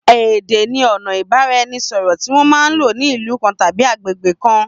Èdé ni ona ìbánisọ̀rọ̀ tí wọn man lò ní ìlú kan tàbí àgbégbé kan